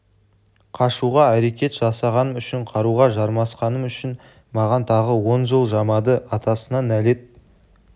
қашуға әрекет жасағаным үшін қаруға жармасқаным үшін маған тағы он жыл жамады атасына нәлет